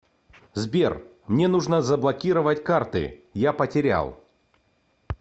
сбер мне нужно заблокировать карты я потерял